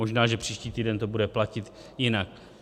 Možná že příští týden to bude platit jinak.